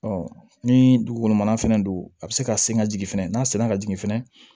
ni dugugolo mana fɛnɛ don a bɛ se ka sen ka jigin fɛnɛ n'a senna ka jigin fɛnɛ